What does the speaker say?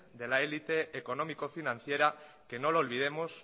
de la élite económico financiera que no olvidemos